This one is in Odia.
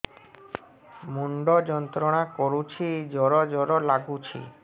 ମୁଣ୍ଡ ଯନ୍ତ୍ରଣା କରୁଛି ଜର ଜର ଲାଗୁଛି